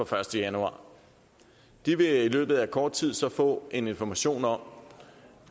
første januar de vil i løbet af kort tid så få information om